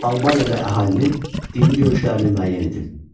Albaniyada əhalinin dini görüşlərini müəyyən edin.